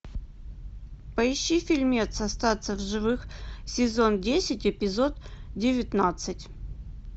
поищи фильмец остаться в живых сезон десять эпизод девятнадцать